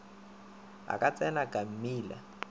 a ka tsena ka mmila